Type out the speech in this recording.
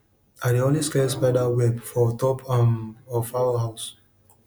i dey always clear spider web for top um of fowl house